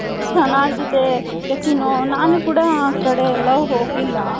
ಚೆನ್ನಾಗಿದೆ ನಾನು ಕೂಡ ಆ ಕಡೆ ಎಲ್ಲಾ ಹೋಗಿಲ್ಲ .